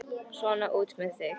Svona, út með þig!